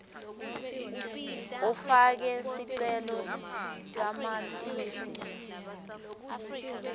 ufake sicele samatisi